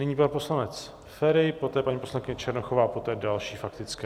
Nyní pan poslanec Feri, poté paní poslankyně Černochová, poté další faktické.